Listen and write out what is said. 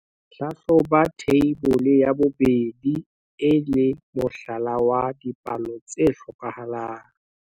Hlahloba Theibole ya 2 e le mohlala wa dipalo tse hlokahalang.